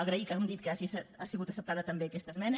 agrair com hem dit que hagi sigut acceptada també aquesta esmena